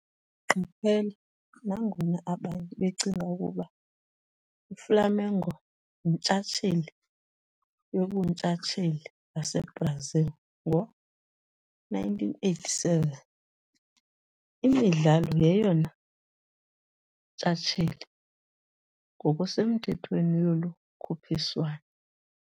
Qaphela- nangona abanye becinga ukuba iFlamengo yintshatsheli yoBuntshatsheli baseBrazil ngo-1987, iMidlalo yeyona ntshatsheli ngokusemthethweni yolu khuphiswano.